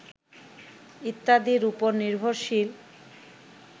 ইত্যাদির উপর নির্ভরশীল